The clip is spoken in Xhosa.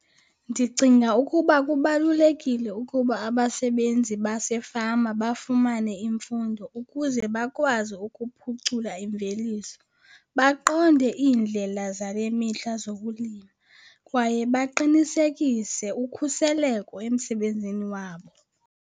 Ndicinga ukuba kubalulekile ukuba abasebenzi basefama bafumane imfundo ukuze bakwazi ukuphucula imveliso, baqonde iindlela zale mihla zokulima kwaye baqinisekise ukhuseleko emsebenzini wabo.